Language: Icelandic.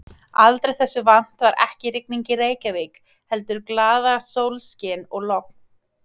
Aldrei þessu vant var ekki rigning í Reykjavík heldur glaðasólskin og logn.